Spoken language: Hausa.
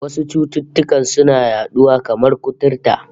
Wasu cututtukan suna yaduwa, kamar kuturta